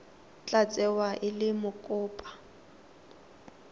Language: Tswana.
tla tsewa e le mokopa